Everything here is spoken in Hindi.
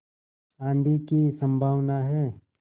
आँधी की संभावना है